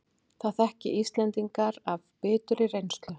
Það þekki Íslendingar af biturri reynslu